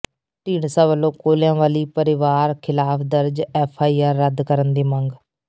ਢੀਂਡਸਾ ਵੱਲੋਂ ਕੋਲਿਆਂਵਲੀ ਪਰਿਵਾਰ ਖ਼ਿਲਾਫ ਦਰਜ ਐਫਆਈਆਰ ਰੱਦ ਕਰਨ ਦੀ ਮੰਗ